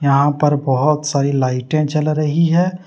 यहां पर बहोत सारी लाइटे जल रही है।